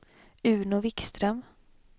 Uno Vikström